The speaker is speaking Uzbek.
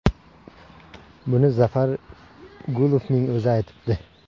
Buni Zafar Gulovning o‘zi aytibdi.